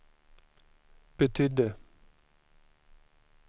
betydde